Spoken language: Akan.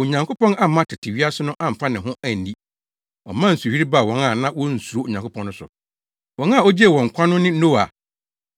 Onyankopɔn amma tete wiase no amfa ne ho anni. Ɔmaa nsuyiri baa wɔn a na wonsuro Onyankopɔn no so. Wɔn a ogyee wɔn nkwa no ne Noa